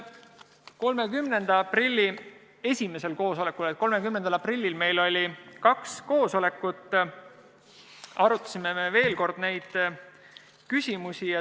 30. aprilli esimesel koosolekul arutasime me veel kord neid küsimusi.